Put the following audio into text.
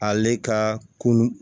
Ale ka kunun